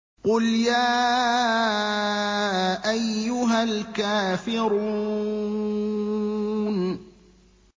قُلْ يَا أَيُّهَا الْكَافِرُونَ